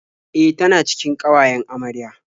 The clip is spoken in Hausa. E, tana cikin ƙawayen amarya.